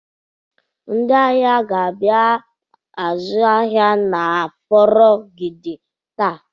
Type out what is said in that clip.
Ndị ahịa ga-abịa azụ ahịa n'ahịa Aforogidi taa.